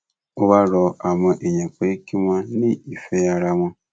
ó wáá rọ àwọn èèyàn pé kí wọn ní ìfẹ ara wọn